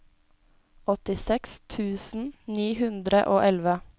åttiseks tusen ni hundre og elleve